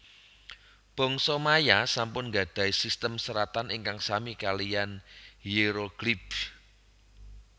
Bangsa Maya sampun gadhahi sistem seratan ingkang sami kaliyan Hierogliyph